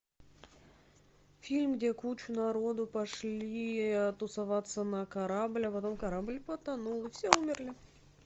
фильм где куча народу пошли тусоваться на корабль а потом корабль потонул все умерли